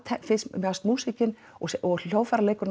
mér fannst og